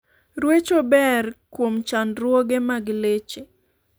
Rweche ber kuom chandruoge mag leche